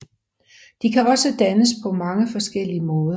De kan også dannes på mange forskellige måder